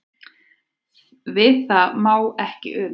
Við það má ekki una.